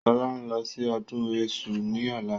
Sọlá ń lọ sí ọdún èṣù ni ọ̀la